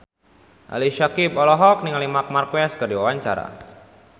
Ali Syakieb olohok ningali Marc Marquez keur diwawancara